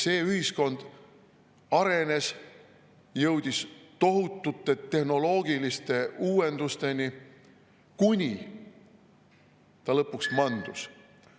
See ühiskond arenes, jõudis tohutute tehnoloogiliste uuendusteni, kuni ta lõpuks mandus.